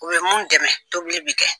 U bɛ mun dɛmɛ tobili b'i kɛ.